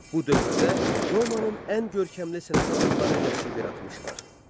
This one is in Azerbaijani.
Bu dövrdə Romanın ən görkəmli sənət adamları yaşayıb yaratmışdılar.